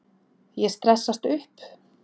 Ég stressast upp.